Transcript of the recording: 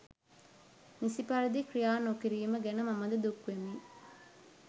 නිසි පරිදි ක්‍රියා නොකිරීම ගැන මමද දුක් වෙමි.